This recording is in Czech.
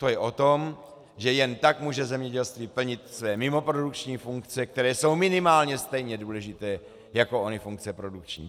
To je o tom, že jen tak může zemědělství plnit svoje mimoprodukční funkce, které jsou minimálně stejně důležité jako ony funkce produkční.